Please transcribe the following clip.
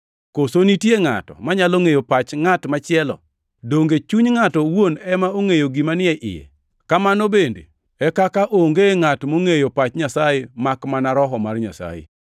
Koso nitie ngʼato manyalo ngʼeyo pach ngʼat machielo? Donge chuny ngʼato owuon ema ongʼeyo gima ni e iye? Kamano bende e kaka onge ngʼat mongʼeyo pach Nyasaye makmana Roho mar Nyasaye.